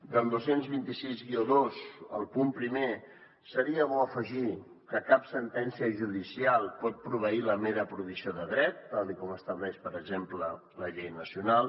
al dos cents i vint sis dos al punt primer seria bo afegir hi que cap sentència judicial pot proveir la mera provisió de dret tal com estableix per exemple la llei nacional